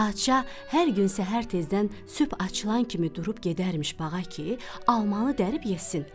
Padşah hər gün səhər tezdən sübh açılan kimi durub gedərmiş bağa ki, almanı dərib yesin.